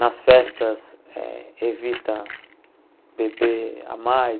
Nas festas, eh evita beber a mais.